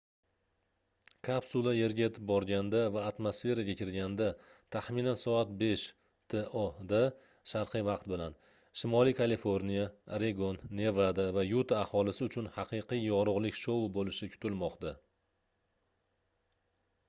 kapsula yerga yetib borganda va atmosferaga kirganda taxminan soat 5 to da sharqiy vaqt bilan shimoliy kaliforniya oregon nevada va yuta aholisi uchun haqiqiy yorug'lik shou bo'lishi kutilmoqda